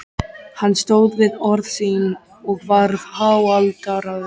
Hann stóð við orð sín og varð háaldraður.